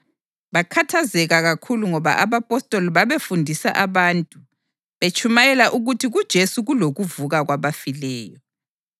Bakhathazeka kakhulu ngoba abapostoli babefundisa abantu betshumayela ukuthi kuJesu kulokuvuka kwabafileyo.